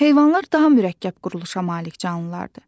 Heyvanlar daha mürəkkəb quruluşa malik canlılardır.